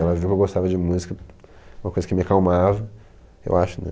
Ela viu que eu gostava de música, uma coisa que me acalmava, eu acho, né?